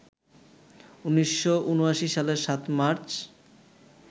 ১৯৭৯ সালের ৭ মার্চ